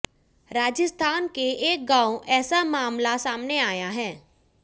राजस्थान के एक गांव ऐसा मामला सामने आया है